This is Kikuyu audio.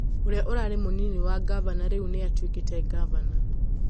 ũria ũrarĩ mũnini wa ngavana rĩu nĩ atuĩkĩte ngavana